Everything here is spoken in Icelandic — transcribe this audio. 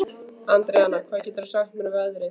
Andríana, hvað geturðu sagt mér um veðrið?